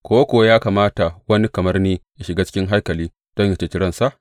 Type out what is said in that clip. Ko kuwa ya kamata wani kamar ni yă shiga cikin haikali don yă ceci ransa?